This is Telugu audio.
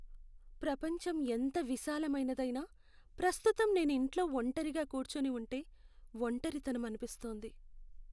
ప్రపంచం ఎంత విశాలమైనదైనా, ప్రస్తుతం నేను ఇంట్లో ఒంటరిగా కూర్చోని ఉంటే ఒంటరితనం అనిపిస్తోంది.